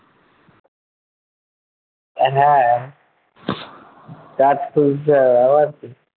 হ্যাঁ কাজ খুঁজতে হবে আবার কি